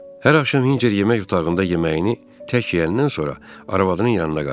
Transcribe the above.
Hər axşam Hinçer yemək otağında yeməyini tək yeyəndən sonra arvadının yanına qayıdır.